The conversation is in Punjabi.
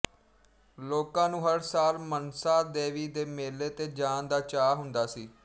ਲੋਕਾਂ ਨੂੰ ਹਰ ਸਾਲ ਮਨਸਾ ਦੇਵੀ ਦੇ ਮੇਲੇ ਤੇ ਜਾਣ ਦਾ ਚਾਅ ਹੁੰਦਾ ਸੀ